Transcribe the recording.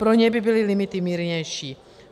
Pro ně by byly limity mírnější.